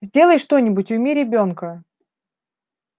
сделай что-нибудь уйми ребёнка